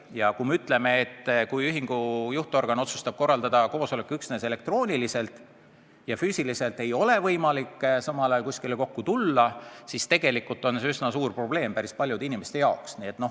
Ja kui ühingu juhtorgan otsustab korraldada koosoleku üksnes elektrooniliselt ja füüsiliselt ei ole võimalik samal ajal kuskile kokku tulla, siis tegelikult on see üsna suur probleem päris paljude inimeste jaoks.